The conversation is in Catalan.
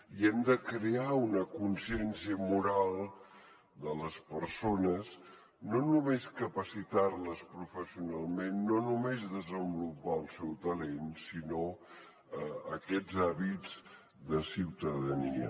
i hem de crear una consciència moral de les persones no només capacitar les professional no només desenvolupar el seu talent sinó aquests hàbits de ciutadania